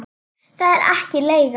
Það er ekki leigan.